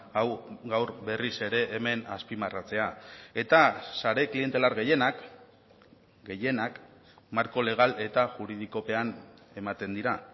hau gaur berriz ere hemen azpimarratzea eta sare klientelar gehienak gehienak marko legal eta juridikopean ematen dira